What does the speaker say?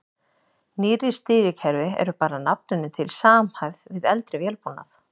Nýrri stýrikerfi eru bara að nafninu til samhæfð við eldri vélbúnað.